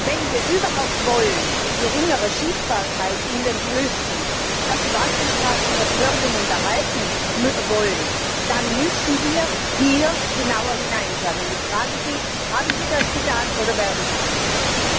Wenn wir überhaupt bei geringerer Schiffbarkeit in den Flüssen diese Wasserstraßen noch fördern und erhalten wollen, dann müssen wir hier genauer hinschauen. Ich frage Sie Haben Sie das getan, oder werden Sie das tun?